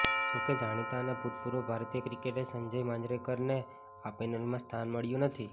જોકે જાણીતા અને ભૂતપૂર્વ ભારતીય ક્રિકેટર સંજય માંજરેકરને આ પેનલમાં સ્થાન મળ્યું નથી